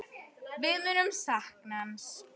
Við munum sakna hans.